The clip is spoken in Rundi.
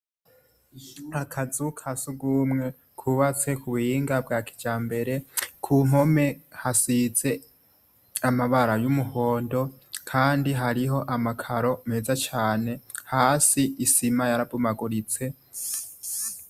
Akazu ka sugumwe kubatse ku buhinga bwa kijambere, ku mpome hasize amabara y'umuhondo kandi hariho amakaro meza cane, hasi isima yarabomaguritse.